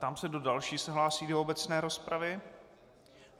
Ptám se, kdo další se hlásí do obecné rozpravy.